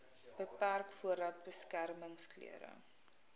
beperk voordat beskermingsklere